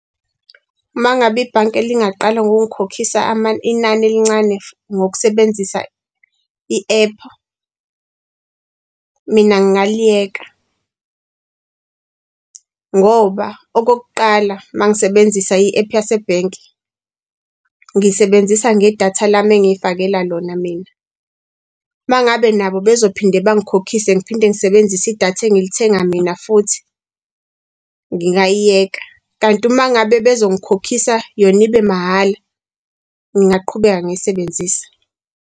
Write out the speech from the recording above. Uma ngabe ibhange lingaqala ukungikhokhisa inani elincane ngokusebenzisa i-app, mina ngingaliyeka. Ngoba okokuqala ngangisebenzisa i-app yase-bank-i ngisebenzisa ngedatha lami engiyifakela lona mina. Uma ngabe nabo bezophinde bangikhokhisa ngiphinde ngisebenzise idatha engilithenga mina futhi ngingayiyeka. Kanti uma ngabe bezongikhokhisa yona ibe mahhala, ngingaqhubeka ngiyisebenzise.